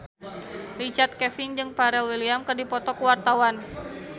Richard Kevin jeung Pharrell Williams keur dipoto ku wartawan